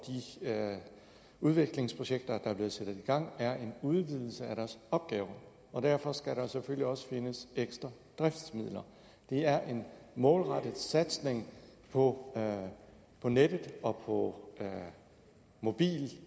udviklingsprojekter der er blevet sat i gang er en udvidelse af deres opgaver og derfor skal der selvfølgelig også findes ekstra driftsmidler det er en målrettet satsning på nettet og på mobil